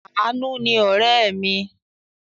Àánú ni ọ̀rẹ́ mi.